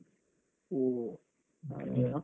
ಹೋ ಹಾಗೆಯಾ.